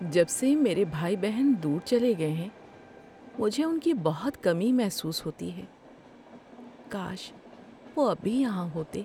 جب سے میرے بہن بھائی دور چلے گئے ہیں مجھے ان کی بہت کمی محسوس ہوتی ہے۔ کاش وہ اب بھی یہاں ہوتے۔